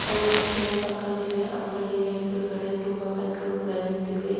ಬಹು ರಸ್ತೆಯ ಪಕ್ಕದಲ್ಲಿ ಅಂಗಡಿಯ ಎದುರುಗಡೆ ತುಂಬಾ ಬೈಕ್ ಗಳು ಕೂಡ ನಿಂತಿವೆ.